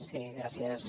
sí gràcies